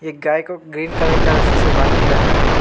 एक गाय को ग्रीन कलर का रस्सी से बांध के रखा है।